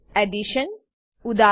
Addition addition ઉદા